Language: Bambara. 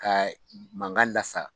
Ka mankan lasa